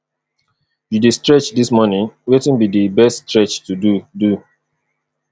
you dey stretch dis morning wetin be di best stretch to do do